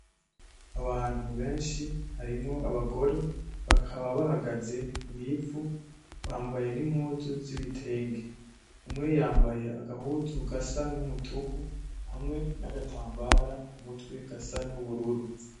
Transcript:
Abantu benshi harimwo abagore, bakaba bahagaze mw'ivu bambaye n'impuzu z'ibitenge; umwe yambaye agahuzu gasa n'umutuku; hamwe n'agatambara ku mutwe gasa n'ubururu.